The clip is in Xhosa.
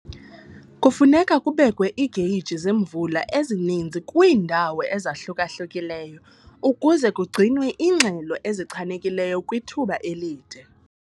Kufuneka kubekwe iigeyiji zemvula ezininzi kwiindawo ezahluka-hlukileyo ukuze kugcinwe iingxelo ezichanekileyo kwithuba elide.